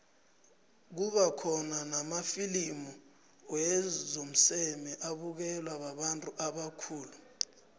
kuba khona namafilimu womseme abukelwa babantu ubakhulu